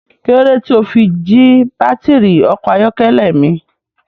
Kí lódé tí o fi jí baátìrì ọkọ̀ ayọ́kẹ́lẹ́ mi?